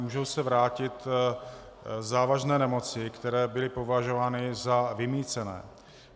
Můžou se vrátit závažné nemoci, které byly považovány za vymýcené.